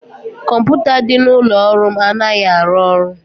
kọmputa dị n'ụlọ ọrụ m anaghị arụ ọrụ